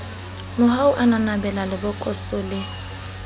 mohau a nanabela lebokoso le